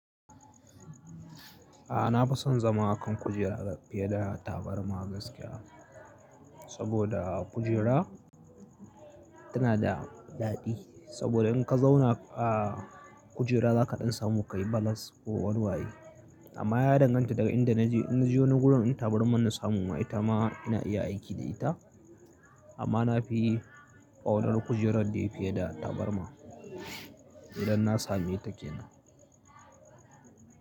A'a, na fi son zama a kan kujera fiye da tabarma gaskiya. Saboda kujera tana da daɗi. Saboda in ka zauna a kujera za ka ɗan samu ka yi balas ko walwaye. Amma ya danganta daga inda na je. In na je wani gurin in tabarman na samu ma ita ma ina iya aiki da ita. Amma na fi ƙaunar kujerar da yake da tabarma idan na sami ita ke nan.